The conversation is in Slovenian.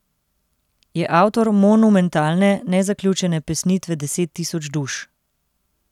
Je avtor monumentalne, nezaključene pesnitve Deset tisoč duš.